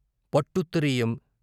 పట్టుత్త రీయం